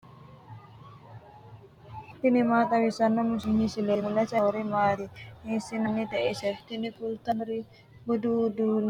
tini maa xawissanno misileeti ? mulese noori maati ? hiissinannite ise ? tini kultannori budu uduunne uddirino seenneeti tini uddanono sidaamu daga budu uddanooti.